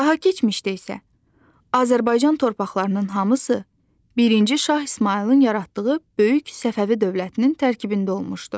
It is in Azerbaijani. Daha keçmişdə isə Azərbaycan torpaqlarının hamısı birinci Şah İsmayılın yaratdığı böyük Səfəvi dövlətinin tərkibində olmuşdu.